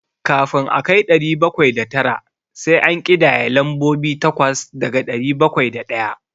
Kafin a kai ɗari bakwai da tara, sai an ƙidaya lambobi takwas daga ɗari bakwai da ɗaya.